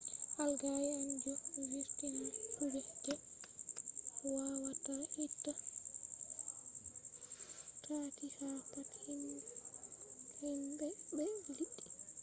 algae en ɗo vurtina guuɓa je wawata itta ɗaɗi ha pat himɓe be liɗɗi